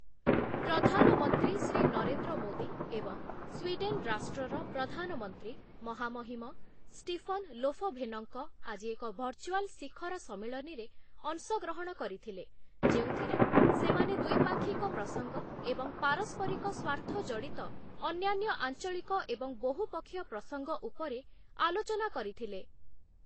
ପ୍ରଧାନମନ୍ତ୍ରୀ ଶ୍ରୀ ନରେନ୍ଦ୍ର ମୋଦୀ ଏବଂ ସ୍ୱିଡେନ ରାଷ୍ଟ୍ରର ପ୍ରଧାନମନ୍ତ୍ରୀ ମହାମହିମ ଷ୍ଟିଫନ ଲୋଫଭେନଙ୍କ, ଆଜି ଏକ ଭର୍ଚୁଆଲ ଶିଖର ସମ୍ମିଳନୀରେ ଅଂଶଗ୍ରହଣ କରିଥିଲେ, ଯେଉଁଥିରେ ସେମାନେ ଦ୍ୱିପାକ୍ଷିକ ପ୍ରସଙ୍ଗ ଏବଂ ପାରସ୍ପରିକ ସ୍ୱାର୍ଥ ଜଡ଼ିତ ଅନ୍ୟାନ୍ୟ ଆଞ୍ଚଳିକ ଏବଂ ବହୁପକ୍ଷୀୟ ପ୍ରସଙ୍ଗ ଉପରେ ଆଲୋଚନା କରିଥିଲେ ।